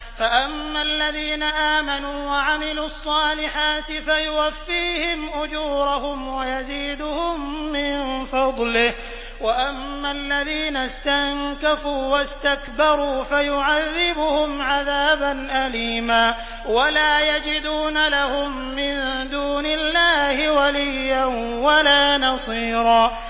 فَأَمَّا الَّذِينَ آمَنُوا وَعَمِلُوا الصَّالِحَاتِ فَيُوَفِّيهِمْ أُجُورَهُمْ وَيَزِيدُهُم مِّن فَضْلِهِ ۖ وَأَمَّا الَّذِينَ اسْتَنكَفُوا وَاسْتَكْبَرُوا فَيُعَذِّبُهُمْ عَذَابًا أَلِيمًا وَلَا يَجِدُونَ لَهُم مِّن دُونِ اللَّهِ وَلِيًّا وَلَا نَصِيرًا